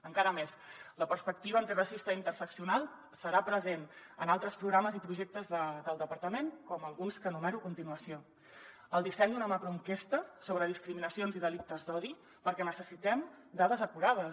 encara més la perspectiva antiracista i internacional serà present en altres programes i projectes del departament com alguns que enumero a continuació el disseny d’una macroenquesta sobre discriminacions i delictes d’odi perquè necessitem dades acurades